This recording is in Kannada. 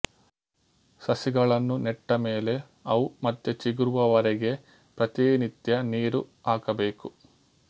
ಸಸಿಗಳನ್ನು ನೆಟ್ಟ ಮೇಲೆ ಅವು ಮತ್ತೆ ಚಿಗುರುವವರೆಗೆ ಪ್ರತಿನಿತ್ಯ ನೀರು ಹಾಕಬೇಕು